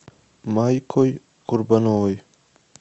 майкой курбановой